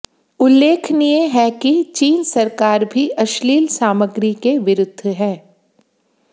उल्लेखनीय है कि चीन सरकार भी अश्लील सामग्री के विरुद्ध है